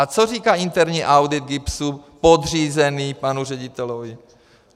A co říká interní audit GIBSu podřízený panu řediteli?